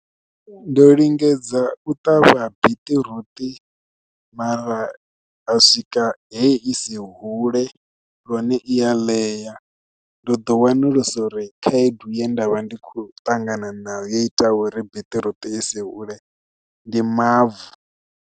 Ndo lingedza u ṱavha biṱiruṱi mara ha swika he isi hule lune i ya ḽeya ndo ḓo wana usa uri khaedu ye ndavha ndi kho ṱangana nayo yo ita uri biṱiruṱi isi hule ndi mavu.